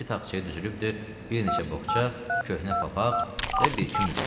Bir-iki taxçaya düzülübdür, bir neçə boğça, köhnə papaq və bir-iki mücrü.